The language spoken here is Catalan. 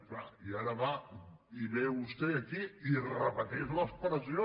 és clar i ara va i ve vostè aquí i repeteix l’expressió